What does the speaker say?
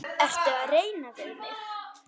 Ertu að reyna við mig?